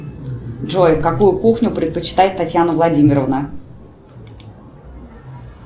джой какую кухню предпочитает татьяна владимировна